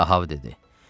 Ahab dedi.